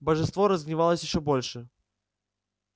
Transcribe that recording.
божество разгневалось ещё больше